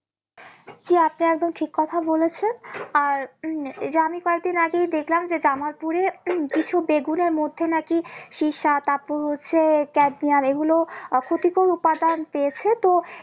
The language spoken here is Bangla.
জি আপনি একদম ঠিক কথা বলেছেন আর উম এই যে আমি কয়েকদিন আগেই দেখলাম যে কামারপুরে উম কিছু বেগুনের মধ্যে নাকি এগুলো আহ ক্ষতিকর উপাদান পেয়েছে তো